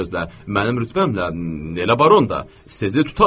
Mənim rütbəmlə elə baronda sizi tutarlar.